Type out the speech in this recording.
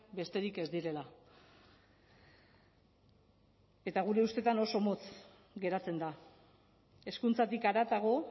besterik ez direla eta gure ustetan oso motz geratzen da hezkuntzatik haratago